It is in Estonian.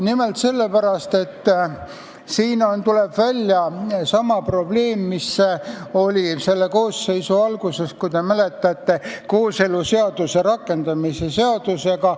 Nimelt sellepärast, et siin tuleb välja sama probleem, mis oli selle koosseisu alguses, võib-olla te mäletate, kooseluseaduse rakendamise seadusega.